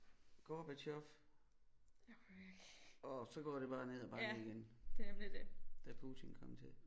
Gorbatjov og så går det bare ned ad bakke igen da Putin kom til